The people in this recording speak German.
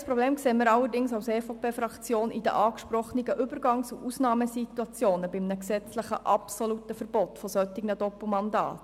Ein reelles Problem sieht die EVP-Fraktion in den angesprochenen Übergangs- und Ausnahmesituationen bei einem gesetzlich geregelten absoluten Verbot solcher Doppelmandate.